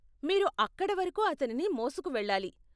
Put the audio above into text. మీరు అక్కడ వరకు అతనిని మోసుకు వెళ్ళాలి .